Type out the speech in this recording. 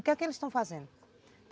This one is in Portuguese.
O que é que eles tão fazendo?